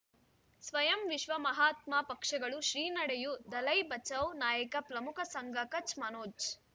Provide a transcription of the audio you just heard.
ಸ್ವಯಂ ವಿಶ್ವ ಮಹಾತ್ಮ ಪಕ್ಷಗಳು ಶ್ರೀ ನಡೆಯೂ ದಲೈ ಬಚೌ ನಾಯಕ ಪ್ರಮುಖ ಸಂಘ ಕಚ್ ಮನೋಜ್